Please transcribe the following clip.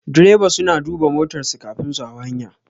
Direba suna duba motar su kafin su hau hanya